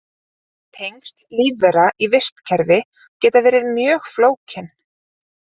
Tengsl lífvera í vistkerfi geta verið mjög flókin.